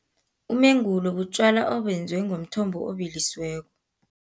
Umengulo butjwala obenziwe, ngomthombo obilisiweko.